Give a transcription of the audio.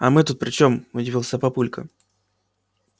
а мы тут при чем удивился папулька